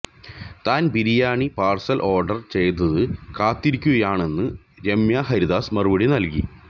താന് biryani parcel order ചെയ്ത് കാത്തിരിക്കുകയാണെന്ന് രമ്യഹരിദാസ് മറുപടി നല്കി